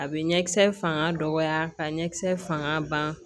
A bɛ ɲɛ kisɛ fanga dɔgɔya ka ɲɛ kisɛ fanga ban